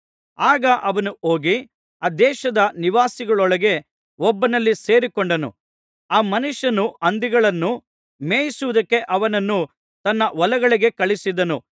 ಆಗ ಅವನು ಹೋಗಿ ಆ ದೇಶದ ನಿವಾಸಿಗಳೊಳಗೆ ಒಬ್ಬನಲ್ಲಿ ಸೇರಿಕೊಂಡನು ಆ ಮನುಷ್ಯನು ಹಂದಿಗಳನ್ನು ಮೇಯಿಸುವುದಕ್ಕೆ ಅವನನ್ನು ತನ್ನ ಹೊಲಗಳಿಗೆ ಕಳುಹಿಸಿದನು